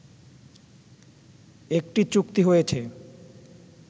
একটি চুক্তি হয়েছে